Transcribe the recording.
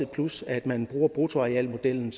plus at man bruger bruttoarealmodellen